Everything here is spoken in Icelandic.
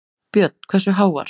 Björn: Hversu háar?